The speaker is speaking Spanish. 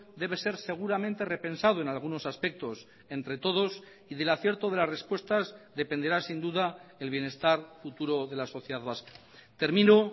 debe ser seguramente repensado en algunos aspectos entre todos y del acierto de las respuestas dependerá sin duda el bienestar futuro de la sociedad vasca termino